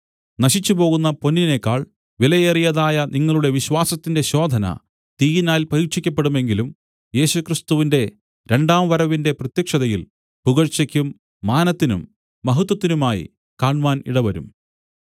നശിച്ചുപോകുന്ന പൊന്നിനേക്കാൾ വിലയേറിയതായ നിങ്ങളുടെ വിശ്വാസത്തിന്റെ ശോധന തീയിനാൽ പരീക്ഷിക്കപ്പെടുമെങ്കിലും യേശുക്രിസ്തുവിന്റെ രണ്ടാം വരവിന്‍റെ പ്രത്യക്ഷതയിൽ പുകഴ്ചയ്ക്കും മാനത്തിനും മഹത്വത്തിനുമായി കാണ്മാൻ ഇടവരും